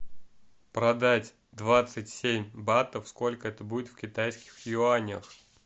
продать двадцать семь батов сколько это будет в китайских юанях